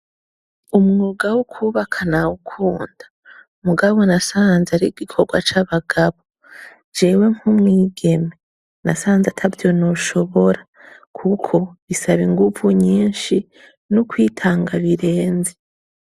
Umwuga wo kwubaka nawukunda mugabo nasanze ari igikorwa c'abagabo jewe nk'umwigeme nasanze atayo noshobora kuko bisaba inguvu nyinshi n'ukwitanga birenze.